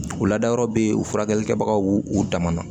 U ladayɔrɔ be yen u furakɛli kɛbagaw u dama na